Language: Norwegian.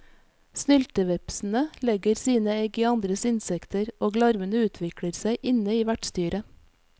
Snyltevepsene legger sine egg i andre insekter, og larvene utvikler seg inne i vertsdyret.